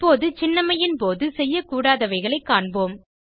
இப்போது சின்னம்மையின் போது செய்யக்கூடாதவைகளைக் காண்போம்